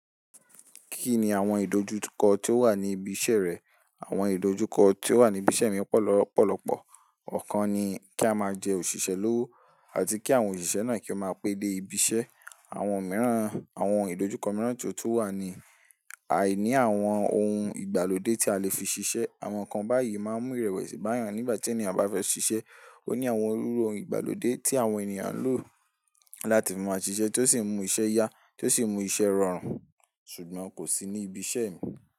Kí ni àwọn ìdojúkọ tó wà ní ibi iṣẹ́ rẹ̀? Àwọn ìdojúkọ ti ó wà ní ibi iṣẹ́ mi pọ̀ lọpọ̀lọpọ̀. Ọ̀kan ni, kí a máa jẹ́ òṣìṣẹ́ lówó àti kí àwọn òṣìṣẹ́ náà kí ó máa pẹ́ dé ibi iṣẹ́. Àwọn ìdojúkọ mìíràn tó tún wà ni, àìní àwọn ohun ìgbàlódé tí a lè fi ṣiṣẹ́. Àwọn nǹkan báyìí máa ń mú ìrẹ̀wẹ̀sì bá yan, nígbà tí ènìyàn bá fẹ́ ṣiṣẹ́, ó ní àwọn iru ohun ìgbàlódé tí àwọn ènìyàn ń lò láti máa ṣiṣẹ́ tó sì mú iṣẹ́ yá, tó sì mú iṣẹ́ rọrùn, ṣùgbọ́n kò sí ní ibi iṣẹ́ mi.